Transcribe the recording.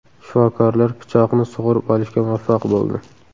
Shifokorlar pichoqni sug‘urib olishga muvaffaq bo‘ldi.